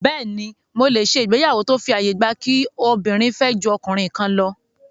Bẹ́ẹ̀ni, mo lè ṣe ìgbéyàwó tó fi àyè gba kí obìnrin fẹ́ ju ọkùnrin kan lọ